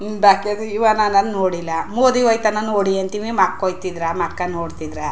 ಇನ್ನ್ ಬಾಕ್ಯದ್ ಇವನಂ ನೋಡಿಲ್ಲಾ ಮೋದಿ ಹೋಯ್ ತನ ನೋಡಿ ಅಂತ ಅಂತೀನಿ ಮಕ್ ಹೋಯ್ ತಿದ್ರಾ ಮಕ್ಕಾ ನೋಡತ್ತಿದ್ರಾ.